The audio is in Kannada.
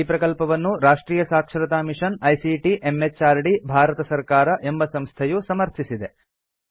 ಈ ಪ್ರಕಲ್ಪವನ್ನು Rashtriya Saksharata mission ICT MHRD Bharat ಸರ್ಕಾರ ಎಂಬ ಸಂಸ್ಥೆಯು ಸಮರ್ಥಿಸಿದೆ